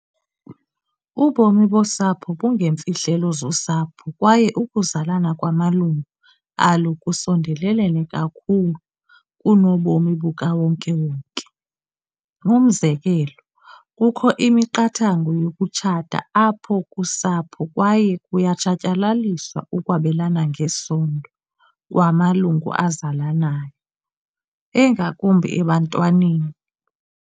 Ubomi bosapho bungeemfihlelo zosapho kwaye ukuzalana kwamalungu alo kusondelelene kakhulu kunobomi bukawonke wonke. Umzekelo, kukho imiqathango yokutshata apha kusapho kwaye kuyatshatyalaliswa ukwabelana ngesondo kwamalungu azalanayo, engakumbi ebantwaneni.